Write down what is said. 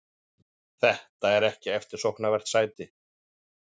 Þetta er ekki eftirsóknarvert sæti.